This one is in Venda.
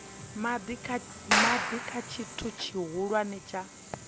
madi kha tshithu tshihulwane tsha